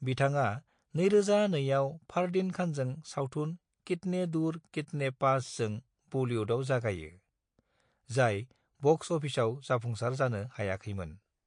बिथाङा 2002 आव फारदीन खानजों सावथुन कितने दूर कितने पासजों बलीवुडआव जागायो, जाय बक्स अफिसआव जाफुंसार जानो हायाखैमोन।